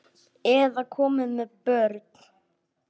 Eða komin með börn?